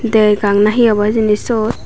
degang na hi obo siyot.